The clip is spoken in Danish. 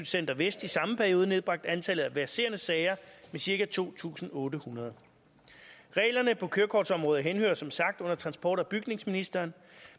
center vest i samme periode nedbragt antallet af verserende sager med cirka to tusind otte hundrede reglerne på kørekortområdet henhører som sagt under transport og bygningsministeren